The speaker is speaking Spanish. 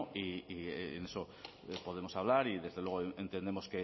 y en eso podemos hablar y desde luego entendemos